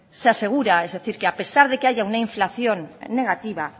se asegura es decir que a pesar de que haya una inflación negativa